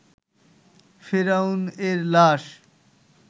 ফেরাউন এর লাশ